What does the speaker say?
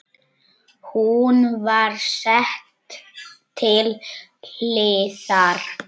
Hún var sett til hliðar.